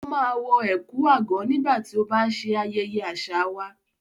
Ó máa wọ ẹ̀kú/àgọ̀ nígbà tó bá ń ṣe ayẹyẹ àṣà wà.